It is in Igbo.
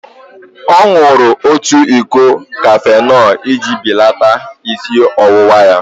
Ọ ṅụrụ otu iko kafenol iji belata isi ọwụwa ya.